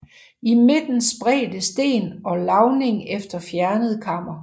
I midten spredte sten og lavning efter fjernet kammer